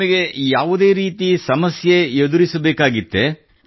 ನಿಮಗೆ ಯಾವುದೇ ರೀತಿ ಸಮಸ್ಯೆ ಎದುರಿಸಬೇಕಾಗಿತ್ತೇ